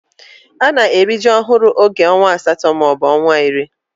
Ana eri ji ohuru oge onwa asato ma obu onwa iri.